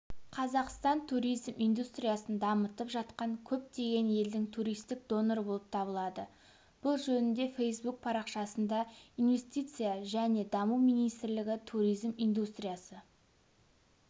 қазақстан туризм индустриясын дамытып жатқан көптеген елдің туристік доноры болып табылады бұл жөнінде фэйсбук парақшасында инвестиция және даму министрлігі туризм индустриясы